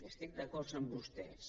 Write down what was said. estic d’acord amb vostès